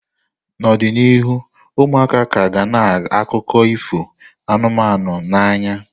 N'ọdịnihu, ụmụaka ka ga na akụkọ ifo anụmanụ n'anya.